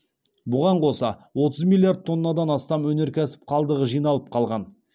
бұған қоса отыз миллиард тоннадан астам өнеркәсіп қалдығы жиналып қалған